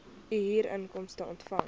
u huurinkomste ontvang